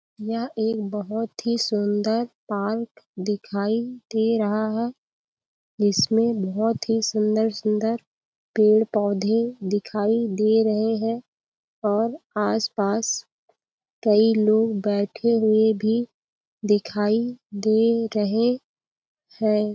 यह एक बहुत ही सुंदर पार्क दिखाई दे रहा है जिसमे बहुत ही सुंदर-सुंदर पेड़-पौधे दिखाई दे रहे हैं और आसपास कई लोग बैठे हुए भी दिखाई दे रहे हैं।